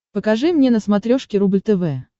покажи мне на смотрешке рубль тв